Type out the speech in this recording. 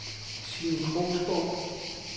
Signe Krogsgaard